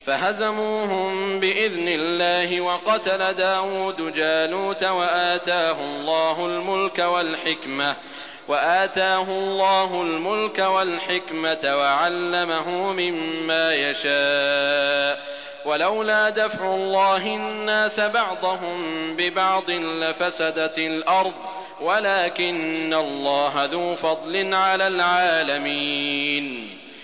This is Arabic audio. فَهَزَمُوهُم بِإِذْنِ اللَّهِ وَقَتَلَ دَاوُودُ جَالُوتَ وَآتَاهُ اللَّهُ الْمُلْكَ وَالْحِكْمَةَ وَعَلَّمَهُ مِمَّا يَشَاءُ ۗ وَلَوْلَا دَفْعُ اللَّهِ النَّاسَ بَعْضَهُم بِبَعْضٍ لَّفَسَدَتِ الْأَرْضُ وَلَٰكِنَّ اللَّهَ ذُو فَضْلٍ عَلَى الْعَالَمِينَ